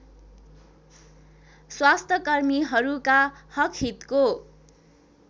स्वास्थ्यकर्मीहरूका हकहितको